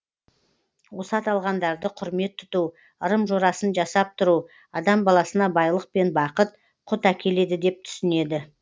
осы аталғандарды құрмет тұту ырым жорасын жасап тұру адам баласына байлық пен бақыт құт әкеледі деп түсінеді